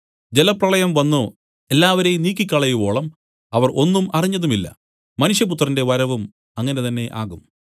ജലപ്രളയം വന്നു എല്ലാവരെയും നീക്കിക്കളയുവോളം അവർ ഒന്നും അറിഞ്ഞതുമില്ല മനുഷ്യപുത്രന്റെ വരവും അങ്ങനെ തന്നെ ആകും